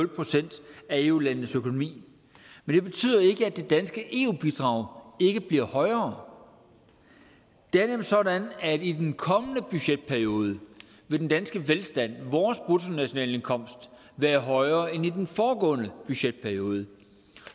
procent af eu landenes økonomi men det betyder ikke at det danske eu bidrag ikke bliver højere det er nemlig sådan at i den kommende budgetperiode vil den danske velstand vores bruttonationalindkomst være højere end i den foregående budgetperiode